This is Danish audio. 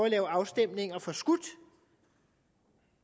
lade afstemningerne forskudt